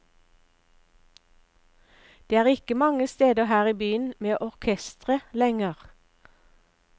Det er ikke mange steder her i byen med orkestre lenger.